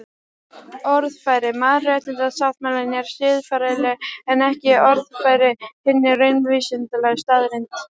Orðfæri mannréttindasáttmálans er siðferðilegt en ekki orðfæri hinna raunvísindalegu staðreynda.